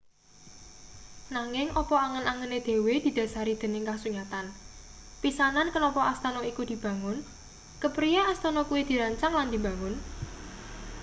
nanging apa angen-angene dhewe didhasari dening kasunyatan pisanan kenapa astana iku dibangun kepriye astana kuwi dirancang lan dibangun